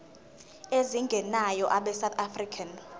ezingenayo abesouth african